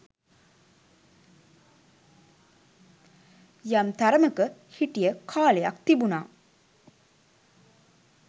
යම් තරමක හිටිය කාලයක් තිබුනා